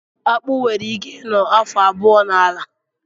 Akpụ nwere ike ị nọ afọ abụọ n'ala